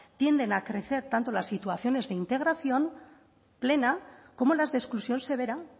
tienden a crecer tanto las situaciones de integración plena como las de exclusión severa